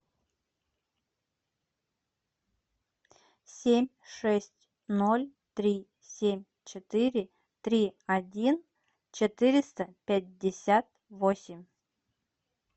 семь шесть ноль три семь четыре три один четыреста пятьдесят восемь